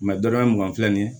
dɔrɔmɛ mugan filɛ nin ye